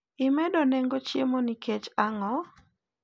imedo nengo chiemo nikech ango?